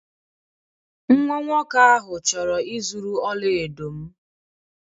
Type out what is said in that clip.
Nwa nwoke ahụ chọrọ ịzuru ọla edo m.